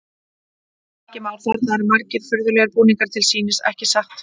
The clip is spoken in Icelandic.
Helgi Már: Þarna eru margir furðulegir búningar til sýnis, ekki satt?